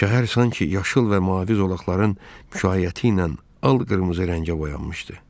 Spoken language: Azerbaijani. Şəhər sanki yaşıl və mavi zolaqların müşayiəti ilə al-qırmızı rəngə boyanmışdı.